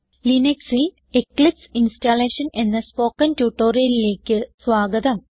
ലിനക്സിൽ Eclipse installation എന്ന spoken ട്യൂട്ടോറിയലിലേക്ക് സ്വാഗതം